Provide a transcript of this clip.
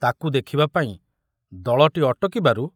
ତାକୁ ଦେଖିବାପାଇଁ ଦଳଟି ଅଟକିବାରୁ